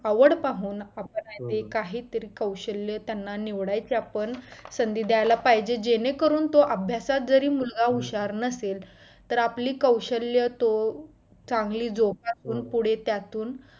आवड पाहून आपल्यामध्ये काहीतरी कौशल्य त्यांना निवडायचे आपण संधी द्दायला पाहिजे जेणेकरून तो अभ्यासात जरी मुलगा हुशार नसेल तर आपली कौशल्य तो चांगली जोपासून तो पुढे त्यातुन